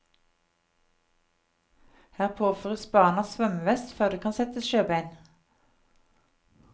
Her påføres barna svømmevest før de kan sette sjøbein.